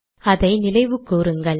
அதை நினைவு கூறுங்கள்